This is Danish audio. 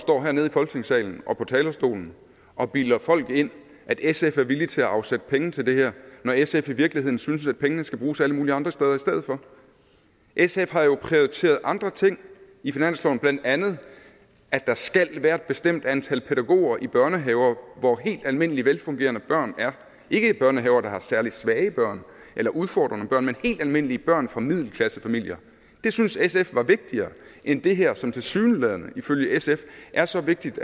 står hernede i folketingssalen op på talerstolen og bilder folk ind at sf er villige til at afsætte penge til det her når sf i virkeligheden synes at pengene skal bruges alle mulige andre steder i stedet for sf har jo prioriteret andre ting i finansloven blandt andet at der skal være et bestemt antal pædagoger i børnehaver hvor helt almindelige velfungerende børn er ikke i børnehaver der har særlig svage børn eller udfordrede børn men helt almindelige børn fra middelklassefamilier det synes sf var vigtigere end det her som tilsyneladende ifølge sf er så vigtigt